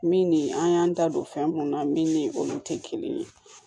Min ni an y'an da don fɛn mun na min ni olu te kelen ye